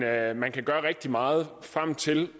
at man kan gøre rigtig meget frem til